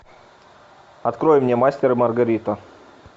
открой мне мастер и маргарита